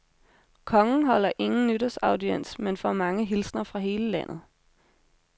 Kongen holder ingen nytårsaudiens men får mange hilsner fra hele landet.